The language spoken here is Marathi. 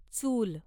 चूल